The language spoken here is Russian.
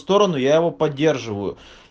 сторону я его поддерживаю